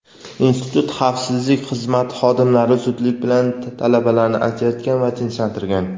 institut xavfsizlik xizmati xodimlari zudlik bilan talabalarni ajratgan va tinchlantirgan.